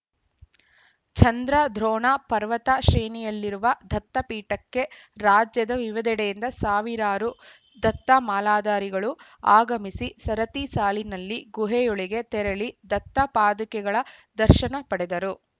ಚಂದ್ರದ್ರೋಣ ಪರ್ವತ ಶ್ರೇಣಿಯಲ್ಲಿರುವ ದತ್ತಪೀಠಕ್ಕೆ ರಾಜ್ಯದ ವಿವಿಧೆಡೆಯಿಂದ ಸಾವಿರಾರು ದತ್ತಮಾಲಾಧಾರಿಗಳು ಆಗಮಿಸಿ ಸರತಿ ಸಾಲಿನಲ್ಲಿ ಗುಹೆಯೊಳಗೆ ತೆರಳಿ ದತ್ತಪಾದುಕೆಗಳ ದರ್ಶನ ಪಡೆದರು